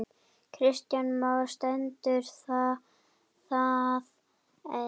Kristján Már: Stendur það enn?